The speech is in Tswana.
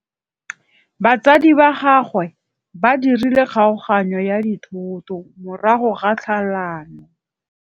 Batsadi ba gagwe ba dirile kgaoganyô ya dithoto morago ga tlhalanô.